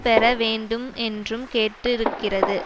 பெற வேண்டும் என்றும் கேட்டிருக்கிறது